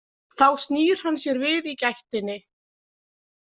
Þá snýr hann sér við í gættinni.